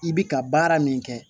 I bi ka baara min kɛ